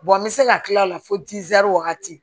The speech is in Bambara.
an bɛ se ka tila a la fo wagati